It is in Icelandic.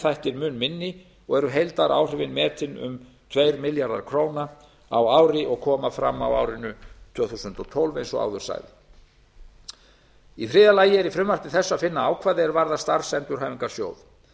þættir mun minni og eru heildaráhrifin metin um tveir milljarðar króna á ári og koma fram á árinu tvö þúsund og tólf eins og áður sagði í þriðja lagi er í frumvarpi þessu að finna ákvæði er varða starfsendurhæfingarsjóð